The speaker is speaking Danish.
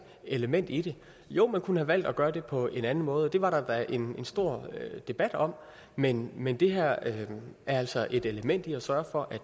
element i det jo man kunne have valgt at gøre det på en anden måde det var der da en stor debat om men men det her er altså et element i at sørge for